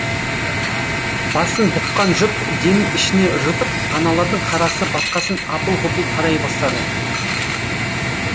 басын бұққан жұрт демін ішіне жұтып аналардың қарасы батқасын апыл ғұпыл тарай бастады